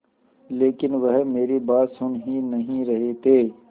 लेकिन वह मेरी बात सुन ही नहीं रहे थे